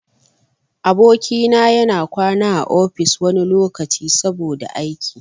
Aboki na ya na kwana a ofis wani lokaci, saboda aiki.